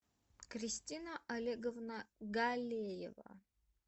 кристина олеговна галеева